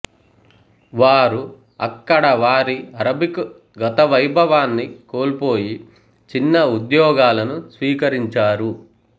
వారు అక్కడ వారి అరబికు గతవైభవాన్ని కోల్పోయి చిన్న ఉద్యోగాలను స్వీకరించారు